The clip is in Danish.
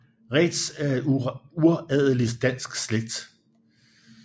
Reedtz er en uradelig dansk slægt